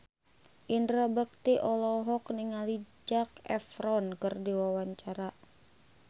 Indra Bekti olohok ningali Zac Efron keur diwawancara